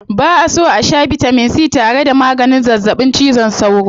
Ba'a so a shaa bitamin c tare da maganin zazzaɓin cizon sauro.